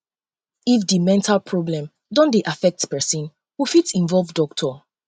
if di mental problem don um dey affect person we fit involve doctor